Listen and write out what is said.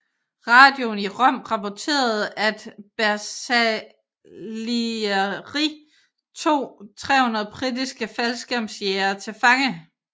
Radioen i Rom rapporterede at Bersaglieri tog 300 britiske faldskærmsjægere til fange